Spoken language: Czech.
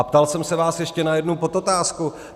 A ptal jsem se vás ještě na jednu podotázku.